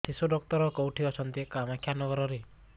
ଶିଶୁ ଡକ୍ଟର କୋଉଠି ଅଛନ୍ତି କାମାକ୍ଷାନଗରରେ